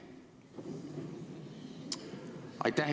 Aitäh!